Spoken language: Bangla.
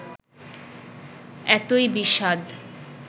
এতই বিষাদ